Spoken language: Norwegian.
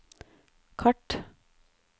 kart